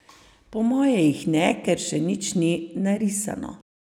Po moje jih ne, ker še nič ni narisano.